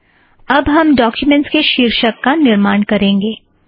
अब हम डोक्युमेंट के शीर्षक का निर्माण करेंगे